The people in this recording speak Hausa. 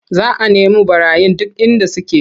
Za a nemu ɓarayin duk inda suke.